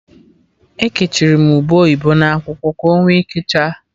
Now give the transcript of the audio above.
Ekechiri m ube oyibo n'akwụkwọ, ka onwe ike chaa